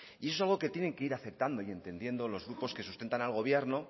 y eso es algo que tienen que ir aceptando y entendiendo los grupos que sustentan al gobierno